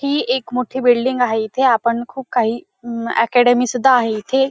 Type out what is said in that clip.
ही एक मोठी बिल्डिंग आहे. इथे आपण खूप काही अं अकॅडमी सुद्धा आहे इथे.